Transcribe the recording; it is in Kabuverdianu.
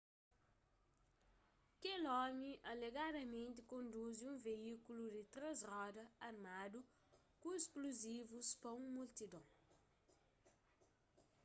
kel omi alegadamenti konduzi un veíkulu di três roda armadu ku splozivus pa un multidon